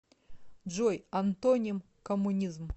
джой антоним коммунизм